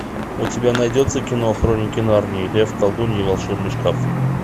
у тебя найдется кино хроники нарнии лев колдунья и волшебный шкаф